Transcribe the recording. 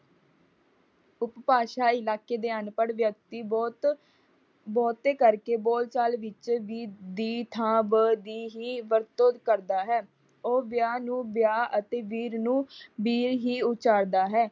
ਉਪਭਾਸ਼ਾਈ ਇਲਾਕੇ ਦੇ ਅਨਪੜ੍ਹ ਵਿਅਕਤੀ ਬਹੁਤ ਬਹੁਤੇ ਕਰਕੇ ਬੋਲ ਚਾਲ ਵਿੱਚ ਵੀ ਦੀ ਥਾਂ ਬ ਦੀ ਹੀ ਵਰਤੋਂ ਕਰਦਾ ਹੈ। ਉਹ ਵਿਆਹ ਨੂੰ ਬਿਆਹ ਅਤੇ ਵੀਰ ਨੂੰ ਬੀਰ ਹੀ ਉਚਾਰਦਾ ਹੈ।